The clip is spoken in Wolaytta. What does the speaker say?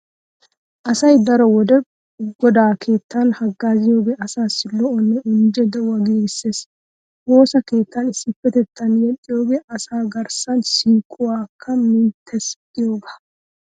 Asay daro wode godaa keettan haggaaziyogee asaassi lo'onne injje de'uwa giigissees. Woosa keettan issippetettaan yexxiyogee asaa garssan siiquwakka minttees giyogaa.